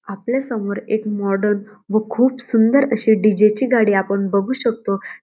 आपल्यासमोर एक मॉडर्न व खूप सुंदर अशी डी जे ची गाडी आपण बघू शकतो.